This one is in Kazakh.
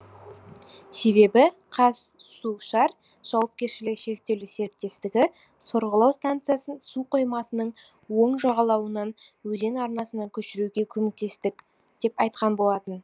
себебі қазсушар жауапкершілігі шектеулі серіктестік сорғылау станциясын су қоймасының оң жағалауынан өзен арнасына көшіруге көмектестік деп айтқан болатын